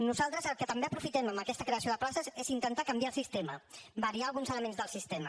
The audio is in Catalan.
nosaltres el que també aprofitem amb aquesta creació de places és intentar canviar el sistema variar alguns elements del sistema